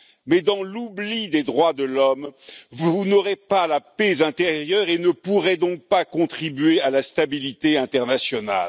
Mais dans l'oubli des droits de l'homme, vous n'aurez pas la paix intérieure et ne pourrez donc pas contribuer à la stabilité internationale.